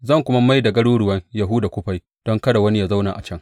Zan kuma mai da garuruwan Yahuda kufai don kada wani ya zauna a can.